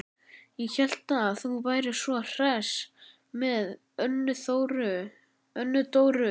Ég hélt að þú værir svo hress með Önnu Dóru.